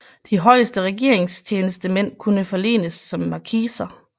De højeste regeringstjenestemænd kunne forlenes som markiser